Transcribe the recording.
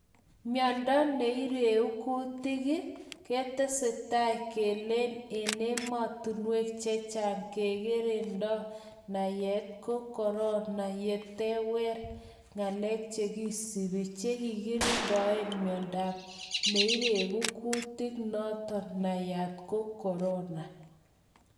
Miondo neireg kutik ii ketesetai kelen emotunwek chechang kekerenoton nayat ko Corona yatewer ngalek chekisubi chekikirindoen miondo neiregu kutik noton nayat ko Corona